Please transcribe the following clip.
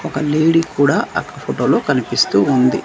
ఒక లేడీ కూడా అక్కడ ఫోటో లో కనిపిస్తూ ఉంది.